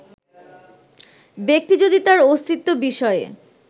ব্যাক্তি যদি তার অস্তিত্ব বিষয়ে